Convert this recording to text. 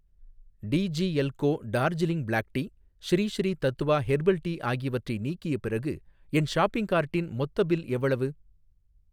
D G L Co Darjeeling black tea, Sri Sri Tattva herbal tea ஆகியவற்றை நீக்கிய பிறகு என் ஷாப்பிங் கார்ட்டின் மொத்த பில் எவ்வளவு?